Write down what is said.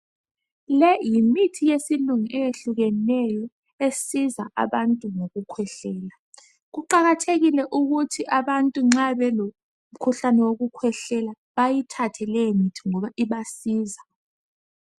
Le yimithi yesilungu eyehlukeneyo esiza abantu ngokukhwehlela kuqakathekile ukuthi abantu nxa belomkhuhlane wokukhwehlela bayithathe le mithi ngoba ibasiza.